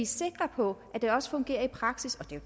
sikre på at det også fungerer i praksis og det